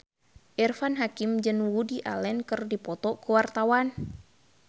Irfan Hakim jeung Woody Allen keur dipoto ku wartawan